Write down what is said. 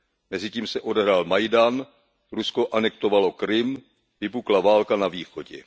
Mezitím se odehrál Majdan, Rusko anektovalo Krym, vypukla válka na východě.